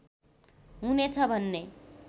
हुनेछ भन्ने